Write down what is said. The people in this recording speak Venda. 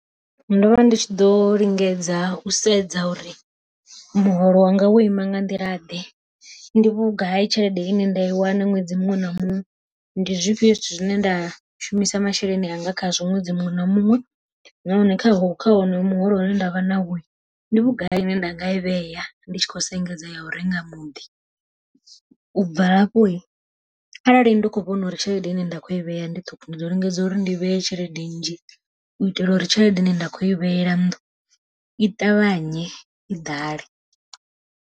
Ndo vha ndi tshi ḓo lingedza u sedza uri muholo wanga wo ima nga nḓila ḓe, ndi vhugai tshelede ine nda i wana ṅwedzi muṅwe na muṅwe, ndi zwifhio zwithu zwine nda shumisa masheleni anga khazwo ṅwedzi muṅwe na muṅwe. Nahone kha ho kha honoyu muholo une nda vha nawo ndi vhugai ine nda nga i vhea, ndi tshi khou sengedza ya u renga muḓi. U bva hafho arali ndi kho vhona uri tshelede ine nda kho i vhea ndi ṱhukhu ndi ḓo lingedza uri ndi vhee tshelede nnzhi u itela uri tshelede ine nda kho i vhetshela nnḓu i ṱavhanye i ḓale.